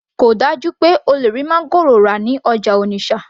kò dájú pé o lè rí máńgòrò rà ní ọjà Onitsha